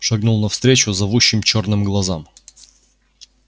шагнул навстречу зовущим чёрным глазам